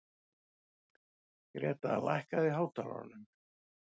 Greta, lækkaðu í hátalaranum.